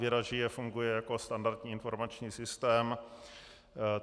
Věda žije funguje jako standardní informační systém.